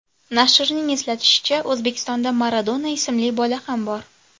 Nashrning eslatishicha, O‘zbekistonda Maradona ismli bola ham bor.